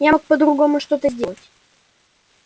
я мог по-другому что-то сделать